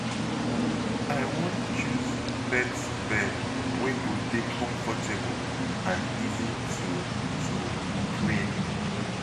I wan choose pet bed wey go dey comfortable and easy to to clean.